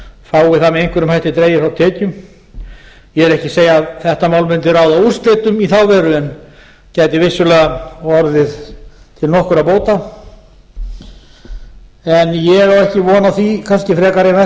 fái það með einhverjum hætti dregið frá tekjum ég er ekki að segja að þetta mál mundi ráða úrslitum í þá veru en gæti vissulega orðið til nokkurra bóta en ég á ekki von á því kannski frekar